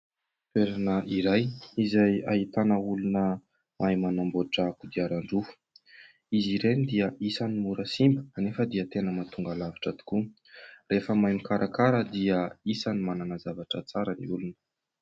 Toerana iray izay ahitana olona mahay manamboatra kodiaran-droa, izy ireny dia isany mora simba kanefa dia tena mahatonga lavitra tokoa. Rehefa mahay mikarakara dia isany manana zavatra tsara ny olona.